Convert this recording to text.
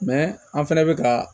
an fɛnɛ bɛ ka